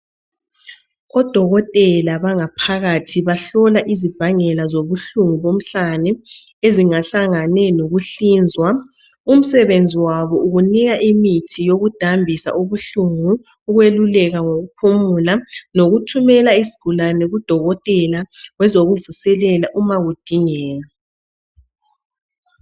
Odokotela bangaphakathi bahlola imbangela zobuhlungu bomhlane. Ezingahlangene lokuhlinzwa. Umsebenzi wabo, yikunika imithi yokudambisa ubuhlungu. Ukweluleka ngokuphumula. Lokuthumela isigulane kudokotela, wezokuvuselela uma kudingeka.